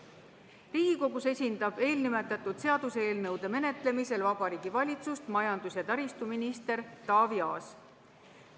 Riigikogus esindab eelnimetatud seaduseelnõude menetlemisel Vabariigi Valitsust majandus- ja taristuminister Taavi Aas.